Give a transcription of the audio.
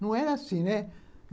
Não era assim, né?